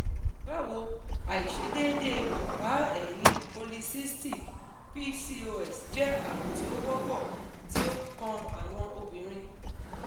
bawo aisedeede ọpa-ẹyin polycystic (pcos) jẹ arun ti o wọpọ ti o kan awọn obinrin